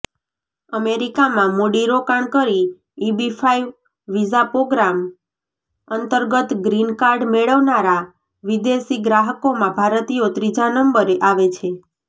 અમેરિકામાં મૂડીરોકાણ કરી ઈબીફાઇવ વિઝાપ્રોગ્રામ અંતર્ગત ગ્રીનકાર્ડ મેળવનારા વિદેશી નાગરિકોમાં ભારતીયો ત્રીજા નંબરે આવે છે